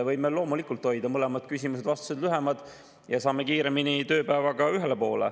Võime loomulikult hoida mõlemad, nii küsimused kui ka vastused lühemad ja saame kiiremini tööpäevaga ühele poole.